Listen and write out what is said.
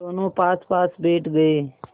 दोेनों पासपास बैठ गए